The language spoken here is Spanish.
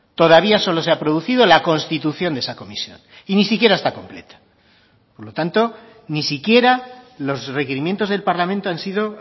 todavía solo se ha producido la constitución de esa comisión y ni siquiera está completa por lo tanto ni siquiera los requerimientos del parlamento han sido